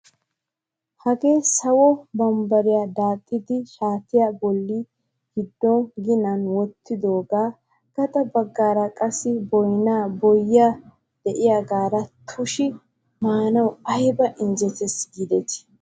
Hagee sawo bambbariyaa daaxxidi shaatiyaa bolli giddo ginan wottidogaa gaxa baggaara qassi bonay, boyye diyaagara tushitushi maanawu ayba injettees giidetii.